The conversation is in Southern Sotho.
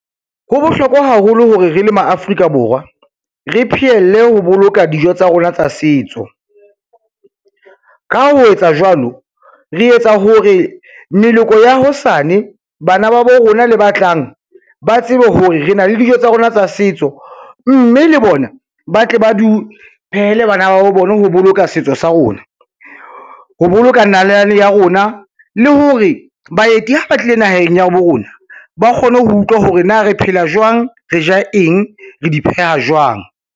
Ho bohlokwa haholo hore re le ma Afrika Borwa re pheelle ho boloka dijo tsa rona tsa setso. Ka ho etsa jwalo, re etsa hore meloko ya hosane bana ba bo rona le ba tlang, ba tsebe hore re na le dijo tsa rona tsa setso, mme le bona ba tle ba di phehele bana ba bona ho boloka setso sa rona, ho boloka nalane ya rona le hore baeti ha ba tlile naheng ya bo rona, ba kgone ho utlwa hore na re phela jwang, re ja eng, re di pheha jwang.